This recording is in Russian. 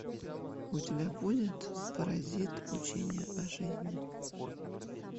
у тебя будет паразит учение о жизни